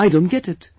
I don't get it